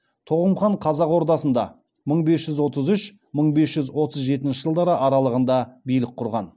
тоғым хан қазақ ордасында мың бес жүз отыз үш мың бес жүз отыз жетінші жылдар аралығында билік құрған